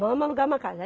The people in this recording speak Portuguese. Vamos alugar uma casa.